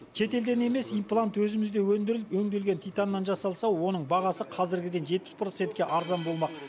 шетелден емес имплант өзімізде өндіріліп өңделген титаннан жасалса оның бағасы қазіргіден жетпіс процентке арзан болмақ